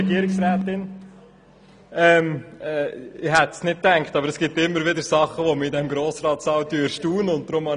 der BaK. Ich hätte es nicht gedacht, aber es gibt immer wieder Dinge, die mich in diesem Grossratssaal erstaunen.